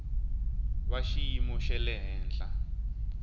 va xiyimo xa le henhla